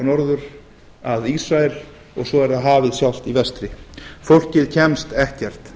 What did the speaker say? norður að ísrael og svo er hafið sjálft í vestri fólkið kemst ekkert